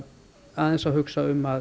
aðeins að hugsa um að